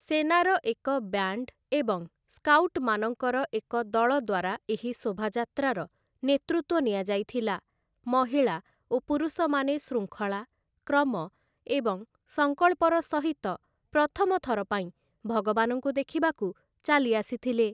ସେନାର ଏକ ବ୍ୟାଣ୍ଡ୍‌ ଏବଂ ସ୍କାଉଟମାନଙ୍କର ଏକ ଦଳ ଦ୍ୱାରା ଏହି ଶୋଭାଯାତ୍ରାର ନେତୃତ୍ୱ ନିଆଯାଇଥିଲା, ମହିଳା ଓ ପୁରୁଷମାନେ ଶୃଙ୍ଖଳା, କ୍ରମ, ଏବଂ ସଂକଳ୍ପର ସହିତ ପ୍ରଥମ ଥରପାଇଁ ଭଗବାନଙ୍କୁ ଦେଖିବାକୁ ଚାଲି ଆସିଥିଲେ ।